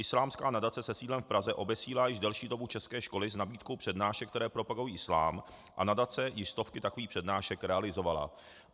Islámská nadace se sídlem v Praze obesílá již delší dobu české školy s nabídkou přednášek, které propagují islám, a nadace již stovky takových přednášek realizovala.